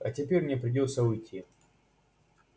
а теперь мне придётся уйти